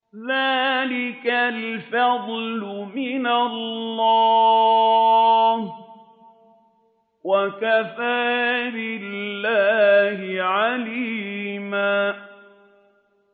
ذَٰلِكَ الْفَضْلُ مِنَ اللَّهِ ۚ وَكَفَىٰ بِاللَّهِ عَلِيمًا